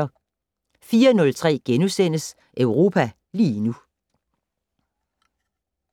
04:03: Europa lige nu *